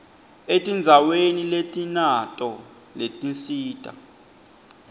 etindzaweni letinato letinsita